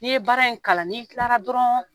N'i ye baara in kalan n'i tilara dɔrɔn